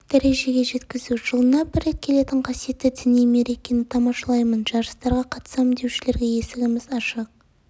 дәрежеге жеткізу жылына бір рет келетін қасиетті діни мерекені тамашалаймын жарыстарға қатысамын деушілерге есігіміз ашық